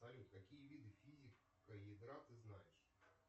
салют какие виды физики едра ты знаешь